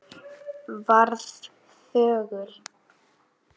Varð þögul.